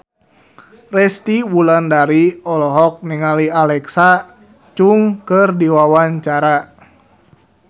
Resty Wulandari olohok ningali Alexa Chung keur diwawancara